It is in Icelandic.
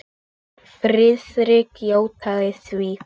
Friðrik játaði því.